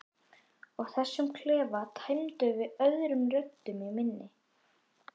Og þessum klefa tæmdum af öðrum röddum en minni.